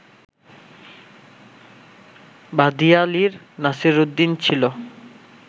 ভাদিয়ালির নাসিরউদ্দিন ছিলো